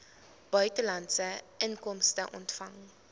buitelandse inkomste ontvang